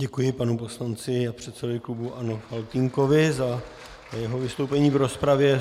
Děkuji panu poslanci a předsedovi klubu ANO Faltýnkovi za jeho vystoupení v rozpravě.